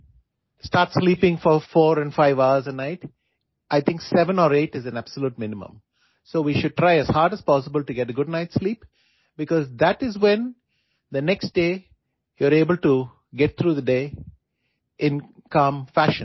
do not start sleeping four four and five hours a night I think seven or eight is a absolute minimum so we should try as hard as possible to get good night sleep because that is when the next day you are able to get through the day in calm fashion